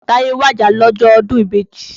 Táyé wàjà lọ́jọ́ ọdún ìbejì.